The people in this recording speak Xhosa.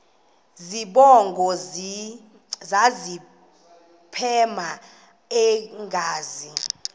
zibongo zazlphllmela engazi